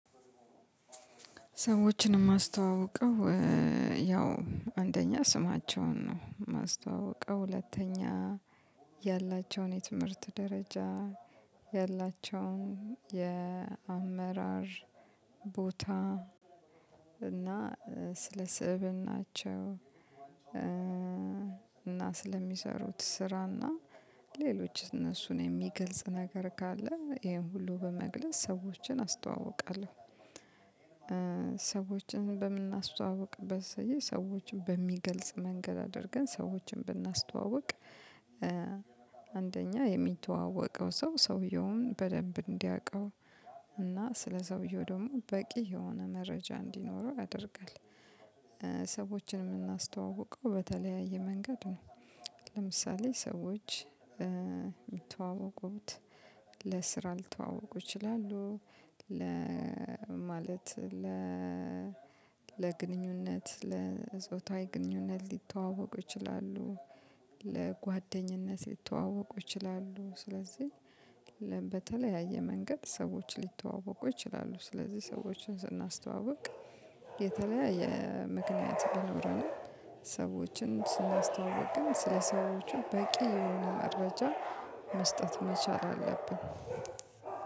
ሰዎችን የማስተዋውቀው ያው አንደኛ ስማቸውን ነው የማስተዋውቀው ሁለተኛ ያላቸውን የትምህርት ደረጃ ያላቸውን የአመራር ቦታ እና ስለ ስእብናቸው እና ስለሚሰሩት ስራና ሌሎች እነሱን የሚገልጽ ነገር ካለ ይሄን ሁሉ በመግለጽ ሰዎችን አስተዋውቃለሁ። ሰዎችን በምናስተዋውቅበት ሰዎችን በሚገልጽ መንገድ አድርገን ሰዎችን ብናስተዋውቅ። አንደኛ የሚተዋወቀው ሰው ሰውየውን በደንብ እንዲያውቀው እና ስለሰውየው ደግሞ በቂ የሆነ መረጃ እንዲኖረው ያደርጋል። ሰዎችን የምናስተዋውቀው በተለያየ መንገድ ነው። ለምሳሌ ሰዎች ሚተዋወቁት ለስራ ሊተዋወቁ ይችላሉ። ለ ማለት ለ ለግንኙነት ለፆታዊ ግንኙነት ሊተዋወቁ ይችላሉ። ለጓደኝነት ሊተዋወቁ ይችላሉ ስለዚህ በተለያየ መንገድ ሰዎች ሊተዋወቁ ይችላሉ። ስለዚህ ሰዎችን ስናስተዋውቅ የተለያየ ምክንያት ቢኖረንም ሰዎችን ስናስተዋውቅ ግን ስለ ሰዎች በቂ የሆነ መረጃ መስጠት መቻል አለብን።